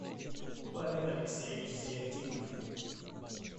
павел алексеевич зиятдинов